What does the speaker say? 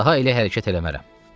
Daha elə hərəkət eləmərəm.